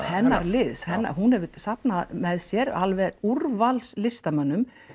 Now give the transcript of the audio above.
hennar liðs hún hefur safnað með sér alveg úrvals listamönnum